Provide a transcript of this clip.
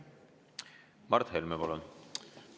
Mart Helme, palun!